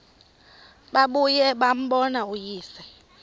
babuye bambone uyise